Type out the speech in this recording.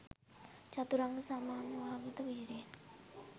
චතුරංග සමන්වාගත වීර්යයෙන්